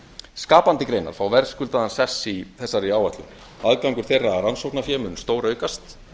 skapandi greinar fá verðskuldaðan sess í þessari áætlun aðgangur þeirra að rannsóknafé mun stóraukast